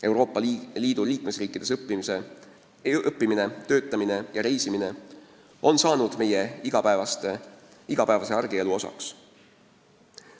Euroopa Liidu liikmesriikides õppimine, töötamine ja reisimine on saanud meie igapäevase argielu osaks.